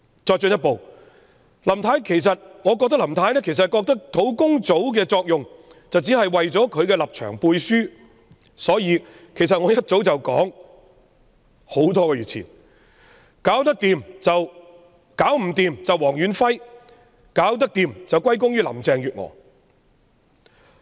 我進一步認為，林太覺得專責小組的作用只是為她的立場"背書"，所以我多個月前已說解決不了便諉過於黃遠輝，解決得到則歸功於林鄭月娥。